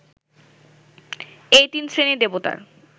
এই তিন শ্রেণীর দেবতার